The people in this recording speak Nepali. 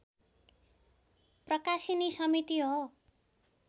प्रकाशिनी समिति हो